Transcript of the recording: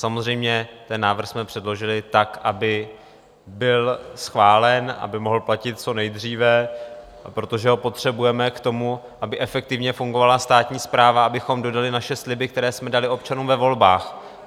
Samozřejmě, ten návrh jsme předložili tak, aby byl schválen, aby mohl platit co nejdříve, protože ho potřebujeme k tomu, aby efektivně fungovala státní správa, abychom dodali naše sliby, které jsme dali občanům ve volbách.